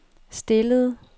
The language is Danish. stillede